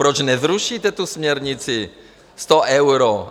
Proč nezrušíte tu směrnici 100 euro?